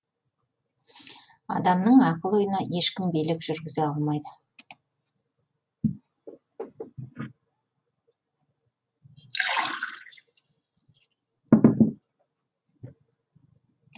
адамның ақыл ойына ешкім билік жүргізе алмайды